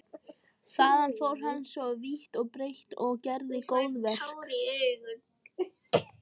Þaðan fór hann svo vítt og breitt og gerði góðverk.